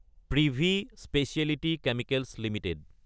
privy speciality chemicals Ltd